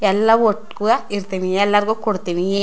ಎಲ್ಲಾ ಒಟ್ಟುಗೂವ್ ಇರ್ತ್ತೀನಿ ಎಲ್ಲಾರಗೂ ಕೊಡತ್ತಿನಿ --